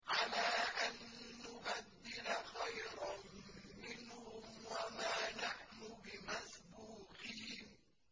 عَلَىٰ أَن نُّبَدِّلَ خَيْرًا مِّنْهُمْ وَمَا نَحْنُ بِمَسْبُوقِينَ